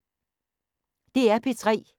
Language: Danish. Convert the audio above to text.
DR P3